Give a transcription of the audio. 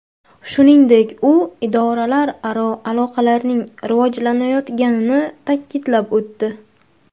Shuningdek, u idoralararo aloqalarning rivojlanayotganini ta’kidlab o‘tdi.